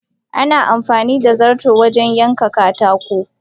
Ana amfanida zarto wajen yanka katako.